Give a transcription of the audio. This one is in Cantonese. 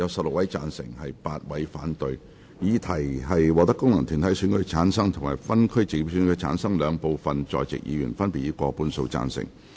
我認為議題獲得經由功能團體選舉產生及分區直接選舉產生的兩部分在席議員，分別以過半數贊成。